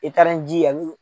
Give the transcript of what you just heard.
I taara ni ji yan.